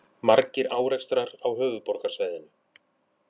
Margir árekstrar á höfuðborgarsvæðinu